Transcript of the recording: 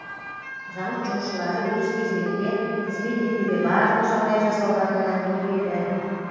зауыт жұмысшылары өз кезегінде қызмет етуге барлық жағдай жасалғанын әңгімеледі